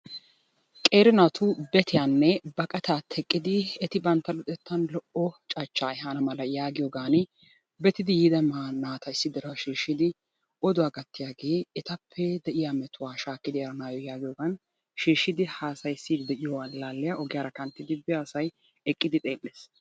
qeeri naatu betiyanne baqqata teqqidi eti bantta luxettan lo''o cachcha ehana mala yagiyooan betidi yiida naata issi dira shiishshidi oduwaa gattiyaage etappe de'iyaa metuwaa shakkidi eranayoo yaagiyoogan shiishshidi haasayssidi de'iyo allaalliya ogiyaara kanttiyaa asay eqqidi xeelees,